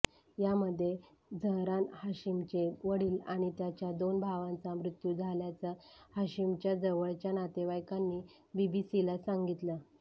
यामध्ये झहरान हाशिमचे वडील आणि त्याच्या दोन भावांचा मृत्यू झाल्याचं हाशिमच्या जवळच्या नातेवाईकांनी बीबीसीला सांगितलं